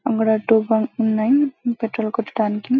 అక్కడ two bike ఉన్నాయి petrol కొట్టడానికి.